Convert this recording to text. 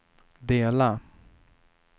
dela